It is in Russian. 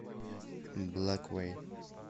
блэквей